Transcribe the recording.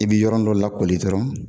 I bɛ yɔrɔ dɔ lakɔli dɔrɔnr